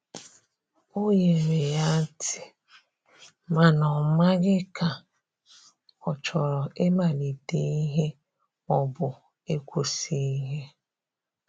o nyere ya tii, mana o maghi ka ochọrọ I malite ihe ma ọbụ ikwụsi ihe.